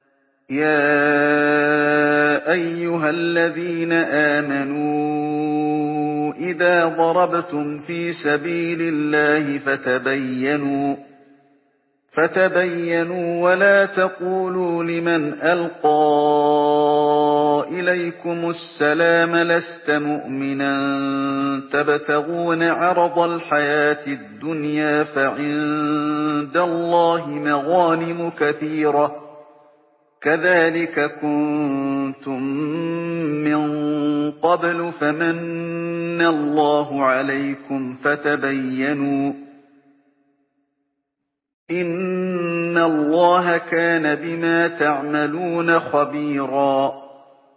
يَا أَيُّهَا الَّذِينَ آمَنُوا إِذَا ضَرَبْتُمْ فِي سَبِيلِ اللَّهِ فَتَبَيَّنُوا وَلَا تَقُولُوا لِمَنْ أَلْقَىٰ إِلَيْكُمُ السَّلَامَ لَسْتَ مُؤْمِنًا تَبْتَغُونَ عَرَضَ الْحَيَاةِ الدُّنْيَا فَعِندَ اللَّهِ مَغَانِمُ كَثِيرَةٌ ۚ كَذَٰلِكَ كُنتُم مِّن قَبْلُ فَمَنَّ اللَّهُ عَلَيْكُمْ فَتَبَيَّنُوا ۚ إِنَّ اللَّهَ كَانَ بِمَا تَعْمَلُونَ خَبِيرًا